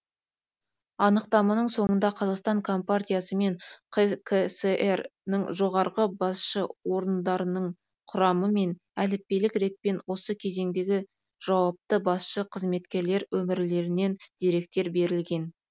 анықтаманың соңында қазақстан компартиясы мен қкср ның жоғарғы басшы орындарының құрамы мен әліппелік ретпен осы кезеңдегі жауапты басшы қызметкерлер өмірлерінен деректер берілген